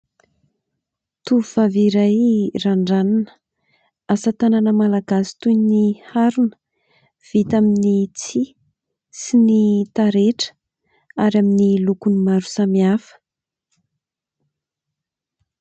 Tovovavy iray randranina, asa tanàna malagasy toy ny harona : vita amin'ny tsihy sy ny taretra ary amin'ny lokony maro samy hafa.